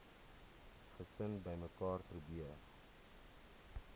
gesin bymekaar probeer